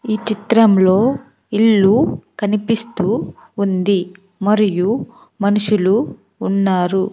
ఈ చిత్రంలో ఇల్లు కనిపిస్తూ ఉంది మరియు మనుషులు ఉన్నారు.